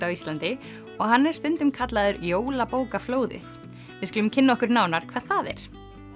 á Íslandi og hann er stundum kallaður jólabókaflóðið við skulum kynna okkur nánar hvað það er